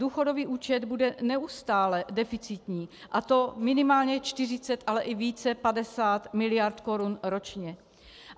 Důchodový účet bude neustále deficitní, a to minimálně 40, ale i více, 50, miliard korun ročně.